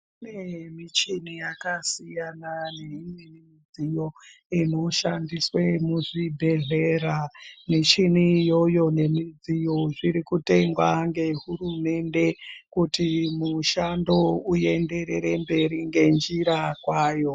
Kune michini yakasiyana neimwe mudziyo inoshandiswe muzvibhedhlera. Michini iyoyo nemidziyo zviri kutengwa ngehurumende kuti mushando uenderere mberi ngenjira kwayo.